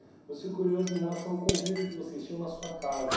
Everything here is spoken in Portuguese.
Mas fico curioso em relação ao convívio que vocês tinham na sua casa.